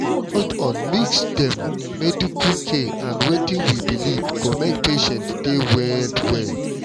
hold on mix dem medical care and wetin we believe go make patients dey well well.